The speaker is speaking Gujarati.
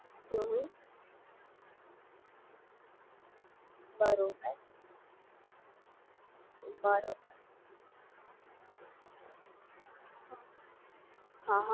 બરોબર સરસ છે ચાલો હું વિચારીશ તમને કહીશ તે મને ભી ચાલુ કરવી છે માંથી બેસ્ટ કઈ રહેશે મતલબ મને હાલમાં હમણાં એકજ ચાલુ કરવી છે પછી મને ફાવી જશે ત્યારે હું બીજી Download કરી તો તમે મને છોડી સજેસ્ટ કરશો?